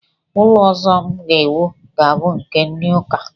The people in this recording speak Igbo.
Ụlọ ọzọ m ga-ewu ga-abụ nke ndị ụka